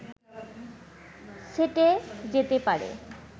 সেঁটে যেতে পারে